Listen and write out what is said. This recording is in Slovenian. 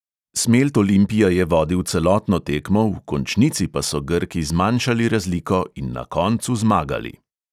Smelt olimpija je vodil celotno tekmo, v končnici pa so grki zmanjšali razliko in na koncu zmagali.